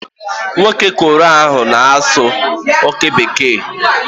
Nwoke Korea ahụ na-asụ okwu Bekee.